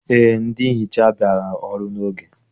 Eé, ndị nhicha bịara ọrụ n'oge